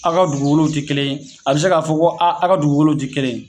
A ka dugukolow ti kelen ye a bi se k'a fɔ ko a a ka dugukolow ti kelen ye